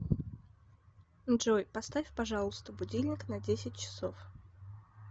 джой поставь пожалуйста будильник на десять часов